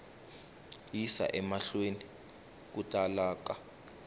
yisa emahlweni ku tala ka